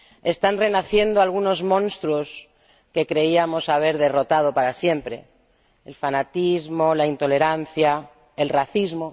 Están renaciendo algunos monstruos que creíamos haber derrotado para siempre el fanatismo, la intolerancia, el racismo.